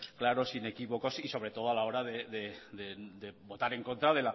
claros inequívocos y sobre todo a la hora de votar en contra